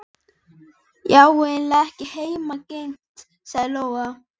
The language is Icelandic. Nú orðinn nýtískuleg leiguíbúð fyrir túrista, innlenda sem erlenda.